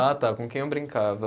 Ah, tá, com quem eu brincava.